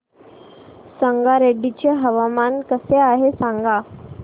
संगारेड्डी चे हवामान कसे आहे सांगा